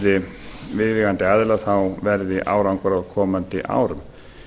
við viðeigandi aðila verði árangur á komandi árum